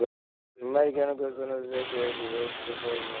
Merkingarnar á kössum og sekkjum vöktu forvitni hennar.